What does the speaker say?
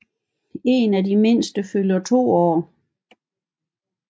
En af de mindste fylder to år